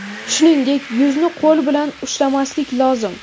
Shuningdek, yuzni qo‘l bilan ushlamaslik lozim.